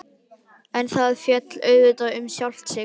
En það féll auðvitað um sjálft sig.